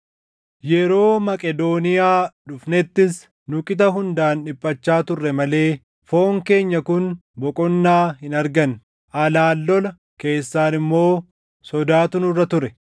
Yeroo Maqedooniyaa dhufnettis nu qixa hundaan dhiphachaa turre malee foon keenya kun boqonnaa hin arganne; alaan lola, keessaan immoo sodaatu nurra ture.